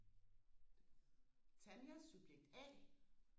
Tanja subjekt a